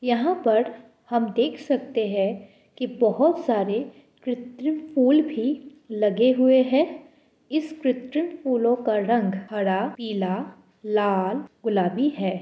यहाँ पर हम देख सकते है कि बहुत सारे कृत्रिम फूल भी लगे हुए हैं इस कृत्रिम फूलों का रंग हरा पीला लाल गुलाबी है।